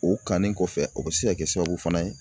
O kanni kɔfɛ o bɛ se ka kɛ sababu fana ye